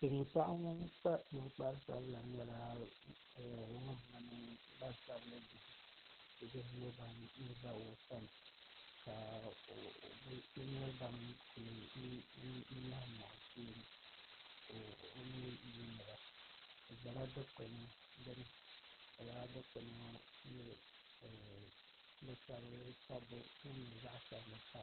Silmiin paɣa ŋun kpa ninkpari sabila nyɛla ŋun mini gbansabili bihi ʒɛ o sani ka bi nyɛ ban kuli nyaɣam o sheeni ka o mii yuundiba bi ʒɛla dikpuni gbuni ka laa dikpuni ŋɔ bi sabi sabbu din nyɛ zaɣ sabinli pa dizuɣu